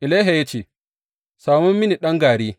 Elisha ya ce, Samo mini ɗan gari.